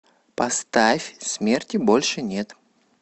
поставь смерти больше нет